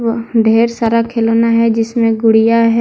ढेर सारा खिलौना है जिसमें गुड़िया है।